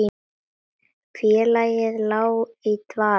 Félagið lá í dvala